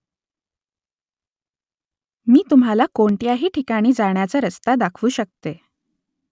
मी तुम्हाला कोणत्याही ठिकाणी जाण्याचा रस्ता दाखवू शकते ?